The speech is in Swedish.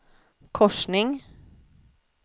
korsning